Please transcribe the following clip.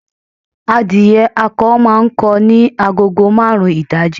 Adìyẹ akọ máa ń kọ ní agogo marun ìdájí